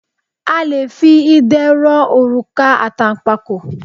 A le fi idẹ rọ òrùka àtànpàkò.